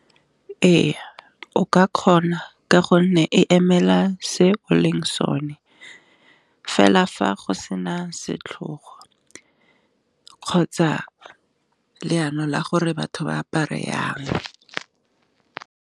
E ya o ka kgona ka gonne e emela se o leng sone fela fa go sena setlhogo, kgotsa leano la gore batho ba apare yang.